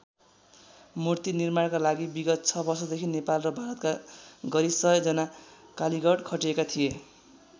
मूर्ति निर्माणका लागि विगत ६ वर्षदेखि नेपाल र भारतका गरी १०० जना कालिगड खटिएका थिए।